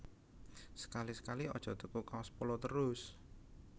Sekali sekali aja tuku kaos Polo terus